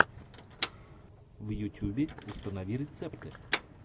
в ютюбе установи рецепты